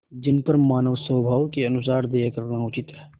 जिन पर मानवस्वभाव के अनुसार दया करना उचित है